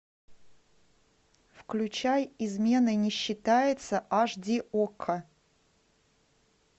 включай изменой не считается аш ди окко